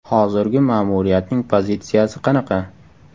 Hozirgi ma’muriyatning pozitsiyasi qanaqa?